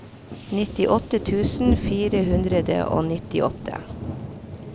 nittiåtte tusen fire hundre og nittiåtte